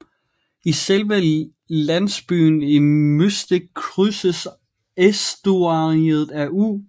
I selve landsbyen Mystic krydses æstuariet af U